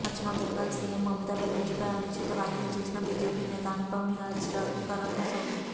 పశ్చిమ బెంగాల్ సీఎం మమతా బెనర్జీపై అనుచిత వ్యాఖ్యలు చేసిన బీజేపీ నేత అనుపమ్ హజ్రాకు కరోనా సోకింది